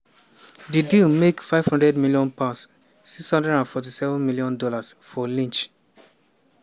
di deal make £500m ($647m) for lynch.